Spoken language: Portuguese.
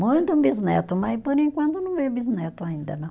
Muito um bisneto, mas por enquanto não veio bisneto ainda não.